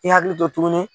I hakili to tuguni